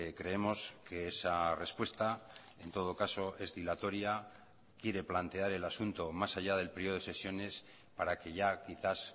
creemos que esa respuesta en todo caso es dilatoria quiere plantear el asunto más allá del periodo de sesiones para que ya quizás